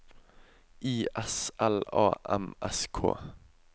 I S L A M S K